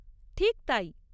ঠিক তাই!